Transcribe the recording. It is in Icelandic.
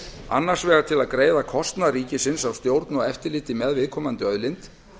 annars vegar til að greiða kostnað ríkisins af stjórn og eftirliti með viðkomandi auðlind